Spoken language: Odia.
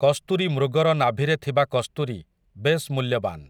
କସ୍ତୁରୀ ମୃଗର ନାଭିରେ ଥିବା କସ୍ତୁରୀ, ବେଶ୍ ମୂଲ୍ୟବାନ୍ ।